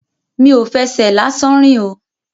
Mi ò fẹsẹ̀ lásán rìn o.